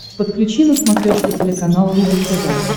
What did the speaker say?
подключи на смотрешке телеканал рубль тв